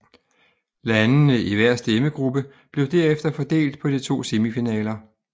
Landene i hver stemmegruppe blev derefter fordelt på de to semifinaler